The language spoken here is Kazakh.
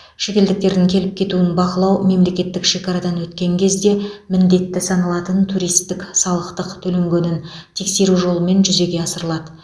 шетелдіктердің келіп кетуін бақылау мемлекеттік шекарадан өткен кезде міндетті саналатын туристік салықтық төленгенін тексеру жолымен жүзеге асырылады